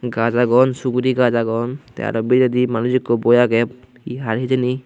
gaj aagon suguri gaj aagon te aro biredi manuj ikko boi aage he har hejeni.